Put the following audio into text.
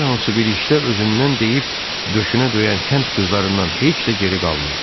Hər hansı bir işdə özündən deyib döşünə döyən kənd qızlarından heç də geri qalmırdı.